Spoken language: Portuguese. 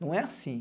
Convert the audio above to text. Não é assim.